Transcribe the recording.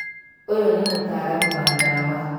Ũyũ nĩ mũtaaramu wa ndawa